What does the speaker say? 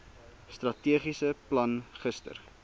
strategiese plan gister